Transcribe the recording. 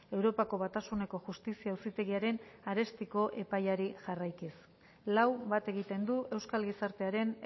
europako batasuneko justizia auzitegiaren arestiko epaiari jarraikiz lau bat egiten du euskal gizartearen